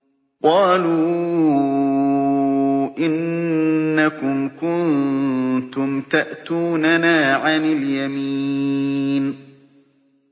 قَالُوا إِنَّكُمْ كُنتُمْ تَأْتُونَنَا عَنِ الْيَمِينِ